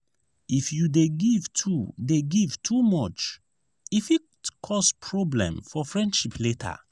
if you dey give too dey give too much e fit cause problem for friendship later.